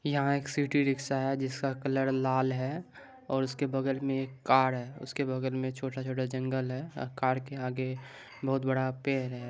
यहां एक city rickshaw है जिसका कलर लाल है और उसके बगल मे एक कार है उसके बगल मे एक छोटा छोटा जंगल है कार के आगे बहुत बड़ा पेड़ है।